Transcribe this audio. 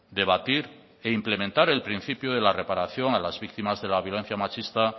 debatir e implementar el principio de la reparación a las víctimas de la violencia machista